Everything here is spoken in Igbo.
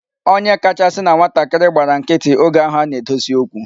Onye kachasị na nwatakịrị gbara nkịtị oge ahụ a na-edosi okwu.